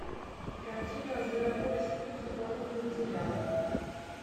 картина зверополис плюс дополнительные материалы